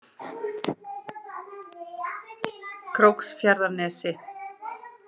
Króksfjarðarnesi